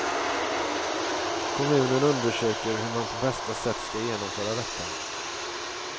Kommunen undersöker hur man på bästa sätt ska genomföra detta.